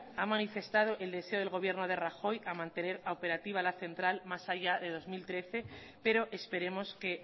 ha manifestado el deseo del gobierno de rajoy a mantener operativa la central más allá de dos mil trece pero esperemos que